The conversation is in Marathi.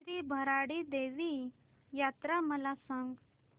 श्री भराडी देवी यात्रा मला सांग